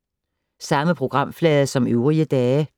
Samme programflade som øvrige dage